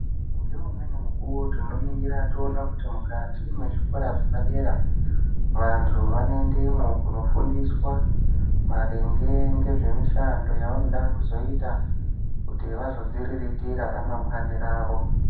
Ngeumweni mukuwo tinoningira toona Kuti mukati mwezvikora zvepadera vantu vanoendemwo kunofundiswa maringe ngezvemishando yavanoda kuzoita kuti vazodziriritira ramangwani ravo.